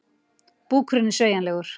Búkurinn er sveigjanlegur.